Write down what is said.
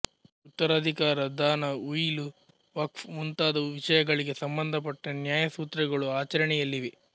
ಉತ್ತರಾಧಿಕಾರ ದಾನ ಉಯಿಲು ವಕ್ಫ್ ಮುಂತಾದ ವಿಷಯಗಳಿಗೆ ಸಂಬಂಧಪಟ್ಟ ನ್ಯಾಯಸೂತ್ರಗಳು ಆಚರಣೆಯಲ್ಲಿವೆ